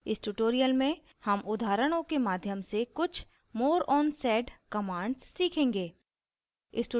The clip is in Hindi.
इस tutorial में हम उदाहरणों के माध्यम से कुछ more on sed commands सीखेंगे